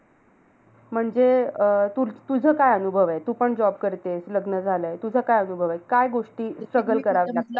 म्हणजे अं तू तुझं काय अनुभव आहे. तूपण job करते. लग्न झालंय. तुझं काय अनुभव आहे. काय गोष्टी struggle करावे लागतात.